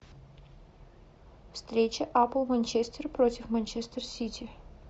встреча апл манчестер против манчестер сити